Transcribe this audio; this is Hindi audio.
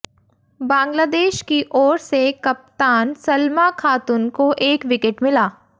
बांग्लादेश की ओर से कप्तान सलमा खातुन को एक विकेट मिला